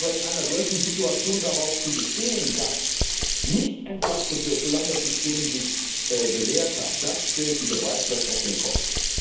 Aber in einer solchen Situation darauf zu bestehen, dass nicht entlastet wird, solange das System sich nicht bewährt hat, das stellt die Beweislast auf den Kopf.